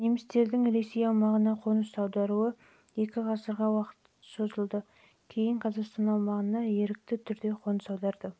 немістердің ресей аумағына қоныс аударуы екі ғасырға жуық уақытқа созылса ресейден қазақстан аумағына ерікті түрде қоныс